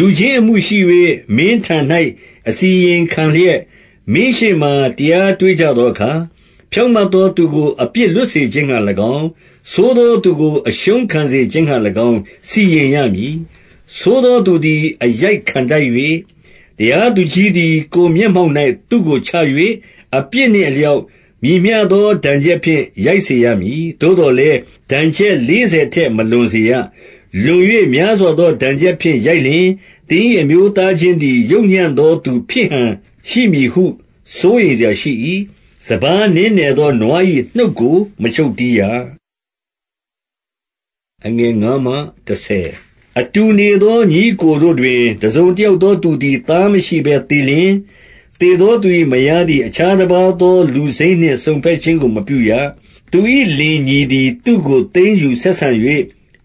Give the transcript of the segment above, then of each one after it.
လူချင်းအမှုရှိ၍ မင်းထံ၌ အစီရင်ခံလျက်၊ မင်းရှေ့မှာ တရားတွေ့ကြသောအခါ၊ ဖြောင့်မတ်သောသူ ကို အပြစ်လွတ်စေခြင်းငှာ၎င်း၊ ဆိုးသောသူကို အရှုံးခံ စေခြင်းငှာ၎င်း စီရင်ရမည်။ 2 ဆိုးသောသူသည် အရိုက်ခံထိုက်လျှင်၊ တရားသူ ကြီးသည် ကိုယ်မျက်မှောက်၌ သူ့ကို ချ၍၊ အပြစ်နှင့် အလျောက် မည်မျှသော ဒဏ်ချက်ဖြင့် ရိုက်စေရမည်။ 3 သို့သော်လည်း ဒဏ်ချက်လေးဆယ်ထက် မလွန် စေရ။ လွန်၍ များစွာသော ဒဏ်ချက်ဖြင့် ရိုက်လျှင်၊ သင်၏အမျိုးသားချင်းသည် ယုတ်ညံ့သောသူ ဖြစ်ဟန်ရှိ မည်ဟု စိုးရိမ်စရာရှိ၏။ 4 စပါးနင်းနယ်သော နွား၏နှုတ်ကို မချုပ်တည်းရ။ 5 အတူနေသော ညီအစ်ကို တို့တွင်၊ တစုံတ ယောက်သောသူသည် သားမရှိဘဲသေလျှင်၊ သေသောသူ ၏ မယားသည် အခြားတပါးသောလူစိမ်းနှင့် စုံဘက်ခြင်း ကို မပြုရ။ သူ၏လင်ညီသည် သူ့ကို သိမ်းယူဆက်ဆံ၍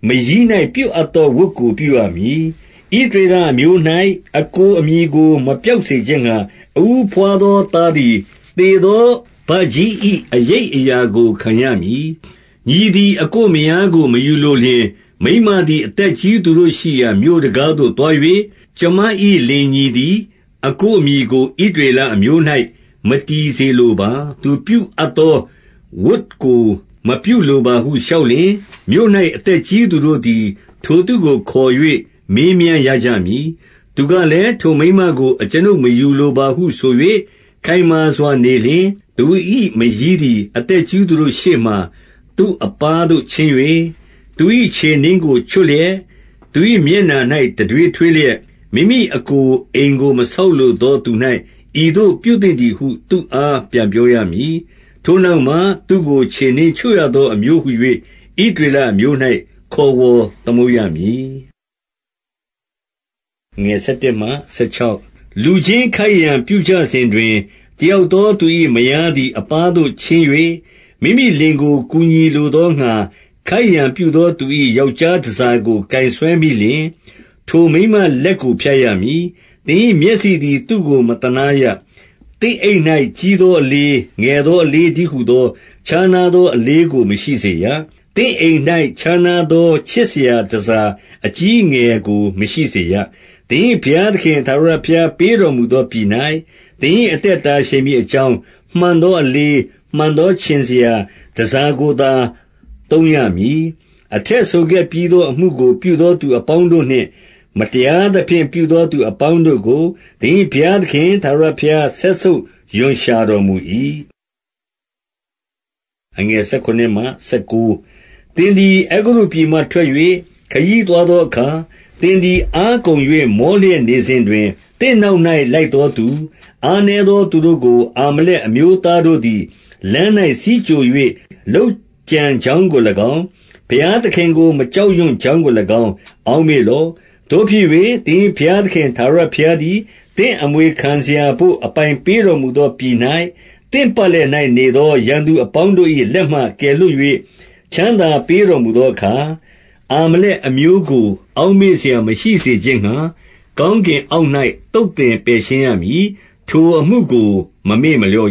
မရီး၌ ပြုအပ်သောဝတ်ကို ပြုရမည်။ 6 ဣသရေလအမျိုး၌ အစ်ကိုအမည်ကို မပျောက် စေခြင်းငှာ၊ အဦးဘွားသော သားသည် သေသောဘကြီး ၏ အရိပ်အရာကို ခံရမည်။ 7 ညီသည် အစ်ကိုမယားကို မယူလိုလျှင်၊ မိန်းမ သည် အသက်ကြီးသူတို့ရှိရာ မြို့တံခါးဝသို့သွား၍၊ ကျွန်မ ၏ လင်ညီသည် အစ်ကိုအမည်ကို ဣသရေလအမျိုး၌ မတည်စေလိုပါ။ သူပြုအပ်သောဝတ်ကို မပြုလိုပါဟု လျှောက်လျှင်၊ 8 မြို့၌ အသက်ကြီးသူတို့သည် ထိုသူကို ခေါ်၍ မေးမြန်းရကြမည်။ သူကလည်း၊ ထိုမိန်းမကို အကျွန်ုပ် မယူလိုပါဟုဆို၍ ခိုင်မာစွာနေလျှင်၊ 9 သူ၏မရီးသည် အသက်ကြီးသူတို့ရှေ့မှာ သူ့အပါးသို့ ချဉ်း၍ သူ၏ခြေနင်းကို ချွတ်လျက်၊ သူ၏ မျက်နှာ၌ တံထွေးထွေးလျက်၊ မိမိအစ်ကို အိမ်ကို မဆောက်လိုသောသူ၌ ဤသို့ ပြုသင့်သည်ဟု သူ့အား ပြန်ပြောရမည်။ 10 နောက်မှ၊ ထိုသူကို ခြေနင်းချွတ်ရသော အမျိုးဟူ၍ ဣသရေလအမျိုး၌ ခေါ်ဝေါ်သမုတ်ရမည်။ 11 လူချင်းခိုက်ရန်ပြုကြစဉ်တွင်၊ တယောက်သော သူ၏မယားသည် အပါးသို့ချဉ်း၍ မိမိလင်ကို ကူညီလို သောငှာ ခိုက်ရန်ပြုသော သူ၏ ယောက်ျားတန်ဆာကို ကိုင်ဆွဲမိလျှင်၊ 12 ထိုမိန်းမလက်ကို ဖြတ်ရမည်။ သင်၏ မျက်စိ သည် သူ့ကို မသနားရ။ 13 သင့်အိတ်၌ ကြီးသောအလေး၊ ငယ်သောအ လေးတည်းဟူသော ခြားနားသော အလေးကို မရှိစေရ။ 14 သင့်အိမ်၌ ခြားနားသော ခြင်စရာတန်ဆာ အကြီးအငယ်ကို မရှိစေရ။ 15 သင်၏ဘုရားသခင် ထာဝရဘုရားပေးတော်မူ သောပြည်၌ သင်၏အသက် တာရှည်မည်အကြောင်း၊ မှန်ကန်သောအလေး၊ မှန်ကန်သောခြင်စရာ တန်ဆာ များကိုသာ သုံးရမည်။ 16 အထက်ဆိုခဲ့ပြီးသော အမှုကို ပြုသောသူအ ပေါင်းတို့နှင့် မတရားသဖြင့် ပြုသောသူအပေါင်းတို့ကို၊ သင်၏ဘုရားသခင် ထာဝရဘုရား စက်ဆုပ်ရွံရှာတော်မူ ၏။ 17 သင်သည် အဲဂုတ္တုပြည်မှ ထွက်၍ ခရီးသွား သောအခါ၊ 18 သင်သည် အားကုန်၍ မောလျက်နေစဉ်တွင်၊ သင့်နောက်၌ လိုက်သောသူ၊ အားနည်းသော သူတို့ကို အာမလက် အမျိုးသားတို့သည် လမ်း၌ ဆီးကြို၍ လုပ်ကြံ ကြောင်းကို၎င်း၊ ဘုရားသခင်ကို မကြောက်ရွံ့ကြောင်းကို ၎င်း၊ အောက်မေ့လော့။ 19 သို့ဖြစ်၍ သင်၏ဘုရားသခင် ထာဝရဘုရား သည် သင့်အမွေခံစရာဘို့ အပိုင်ပေးတော်မူသောပြည်၌ သင့်ပတ်လည်၌ နေသောရန်သူအပေါင်းတို့၏ လက်မှ ကယ်လွှတ်၍ ချမ်းသာပေးတော်မူသောအခါ၊ အာမလက် အမျိုးကို အောက်မေ့စရာ မရှိစေခြင်းငှာ၊ ကောင်းကင် အောက်၌ သုတ်သင်ပယ်ရှင်းရမည်။ ထိုအမှုကို မမေ့ မလျော့